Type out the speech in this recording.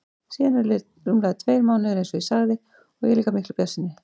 Síðan eru liðnir rúmlega tveir mánuðir einsog ég sagði og ég er líka miklu bjartsýnni.